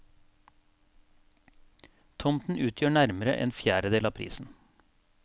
Tomten utgjør nærmere en fjerdedel av prisen.